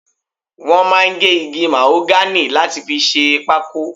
Wọ́n máa ń gé igi màhógánì láti fi ṣe pákó.